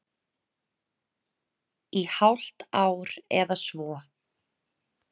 Í hálft ár eða svo.